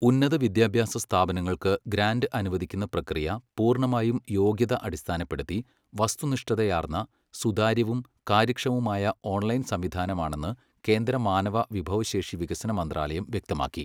ഉന്നത വിദ്യാഭ്യാസ സ്ഥാപനങ്ങൾക്ക് ഗ്രാന്റ് അനുവദിക്കുന്ന പ്രക്രിയ പൂർ ണ്ണമായും യോഗ്യത അടിസ്ഥാനപ്പെടുത്തി, വസ്തുനിഷ്ഠതയാർന്ന, സുതാര്യവും കാര്യക്ഷമവുമായ ഓൺലൈൻ സംവിധാനമാണെന്ന് കേന്ദ്ര മാനവ വിഭവശേഷി വികസന മന്ത്രാലയം വ്യക്തമാക്കി.